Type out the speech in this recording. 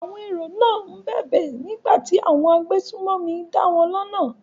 Àwọn èrò náà ń bẹ̀bẹ̀ nígbà tí àwọn agbésùnmọ̀mí dáwọn lọ́nà.